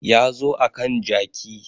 Ya zo akan jaki